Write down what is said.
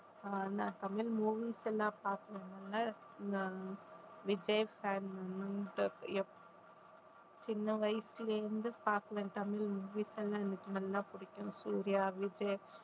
அஹ் நான் தமிழ் movies எல்லாம் நான் விஜய் fan சின்ன வயசுல இருந்து பார்க்கிறேன் தமிழ் movies எல்லாம் எனக்கு நல்லா பிடிக்கும் சூர்யா, விஜய்